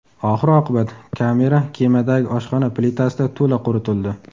Oxir-oqibat, kamera kemadagi oshxona plitasida to‘la quritildi.